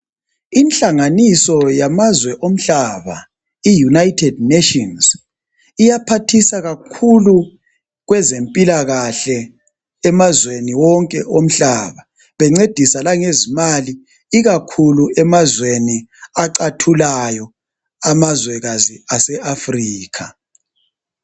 Inhlanganiso yamazwe omhlaba iUnited Nations, iyaphathisa kakhulu kwezempilakahle emazweni wonke womhlaba bencedisa langezimali ikakhulu emazweni acathulayo, amazwekazi ase Africa.